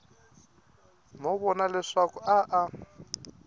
no vona leswaku a a